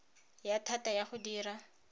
ya thata ya go dira